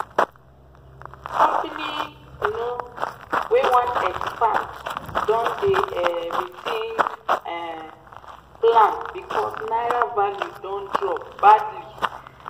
company um wey wan expand don dey um rethink um plan because naira value don drop badly.